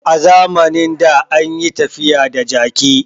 A zamanin da an yi tafiya da jaki